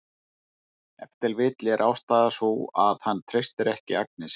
Ef til vill er ástæðan sú að hann treystir ekki Agnesi.